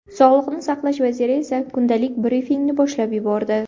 Sog‘liqni saqlash vaziri esa kundalik brifingni boshlab yubordi.